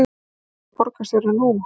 Hvað segir borgarstjóri nú?